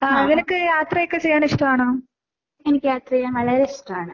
അഹ് എനിക്ക് യാത്ര ചെയ്യാൻ വളരെ ഇഷ്ട്ടാണ്.